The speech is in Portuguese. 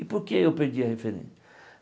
E por que eu perdi a